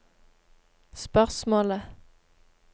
spørsmålet